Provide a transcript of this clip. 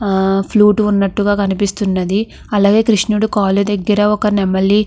ఆహ్ ఫ్లూట్ ఉన్నట్టుగా కనిపిస్తున్నది. అలాగే కృష్ణుడి కాళ్ళ దగ్గర ఒక నెమలి --